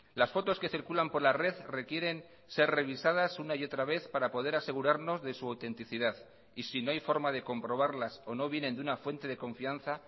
las fotos que circulan por la red requieren ser revisadas una y otra vez para poder asegurarnos de su autenticidad y si no hay forma de comprobarlas o no vienen de una fuente de confianza